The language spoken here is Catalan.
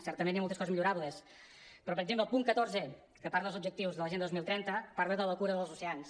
certament hi ha moltes coses millorables però per exemple el punt catorzè que parla dels objectius de l’agenda dos mil trenta parla de la cura dels oceans